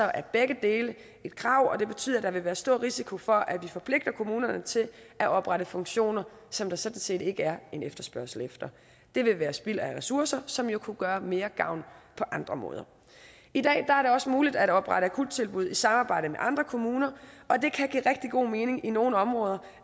er begge dele et krav og det betyder at der vil være stor risiko for at vi forpligter kommunerne til at oprette funktioner som der sådan set ikke er en efterspørgsel efter det vil være spild af ressourcer som jo kunne gøre mere gavn på andre måder i dag er det også muligt at oprette akuttilbud i samarbejde med andre kommuner og det kan give rigtig god mening i nogle områder